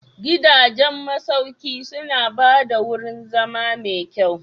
Gidajen masauki suna ba da wurin zama mai kyau.